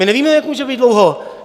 My nevíme, jak může být dlouho.